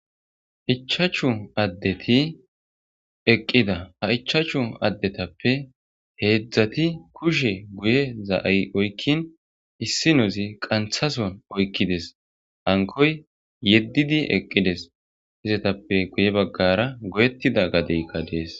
Ichachu addeti eqqida a ichachu addetappe heedzdzati kushe guye za7ay oykkin issinozi qanthason oykkides ankoy yeddidi eqqides izetappe guye baggara goyettida gadeykka dees.